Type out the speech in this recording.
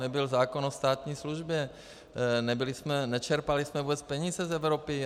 Nebyl zákon o státní službě, nečerpali jsme vůbec peníze z Evropy.